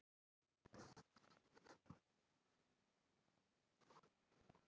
Þórgunnur næstum það lægsta sem komist varð í þjóðfélagsstiganum